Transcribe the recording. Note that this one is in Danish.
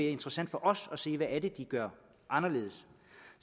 interessant for os at se hvad det er de gør anderledes